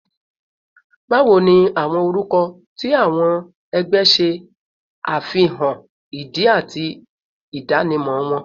Bawo ni awọn orukọ ti awọn ẹgbẹ ṣe afihan idi ati idanimọ wọn?